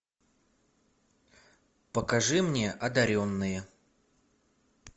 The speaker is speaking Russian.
покажи мне одаренные